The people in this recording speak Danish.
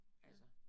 Ja